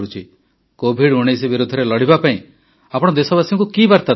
COVID-19 ବିରୋଧରେ ଲଢ଼ିବା ପାଇଁ ଆପଣ ଦେଶବାସୀଙ୍କୁ କି ବାର୍ତ୍ତା ଦେବେ